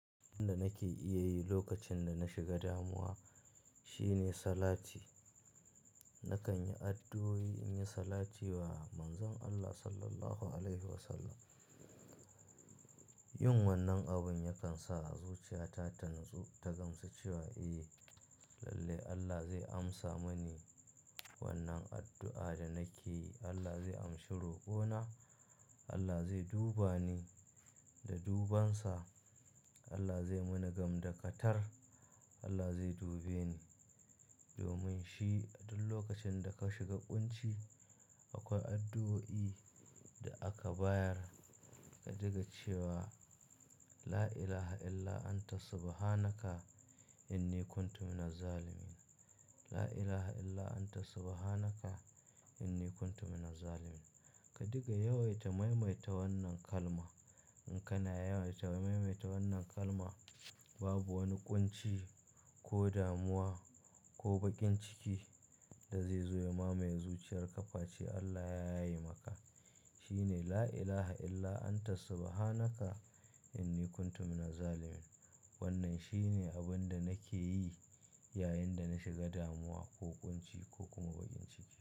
Abin da nake iya yi lokacin da na shiga damuwa shine salati. Nakan yi addu'o'i, in yi salati wa Manzon Allah Sallallahu Alaihi Wasallam. Yin wannan abun yakan sa zuciyata ta natsu, ta gamsu cewa eh lalle Allah zai amsa mani wannan addu'a da nake yi. Allah zai amshi roƙona. Allah zai duba ni da dubansa. Allah zai muni gamda katar. Allah zai dubeni. Domin shi duk lokacin da ka shiga ƙunci akwai addu'o'i da aka bayar ka diga cewa "la ilaha illa anta subhanaka inni kuntu mina zalimin, la ilaha illa anta subhanaka inni kuntu mina zalimin." Ka diga, yawaita, maimaita wannan kalma. In kana yawaita, maimaita wannan kalma babu wani ƙunci ko damuwa ko bakin ciki da zai zo ya mamaye zuciyar kaface Allah ya yaye maka. Shi ne "la ilaha illa anta subhanaka inni kuntu mina zalimin." Wannan shi ne abin da nake yi yayin da na shiga damuwa ko ƙunci ko kuma bakin ciki.